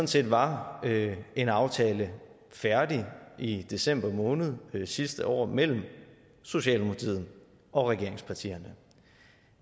set var en aftale færdig i december måned sidste år mellem socialdemokratiet og regeringspartierne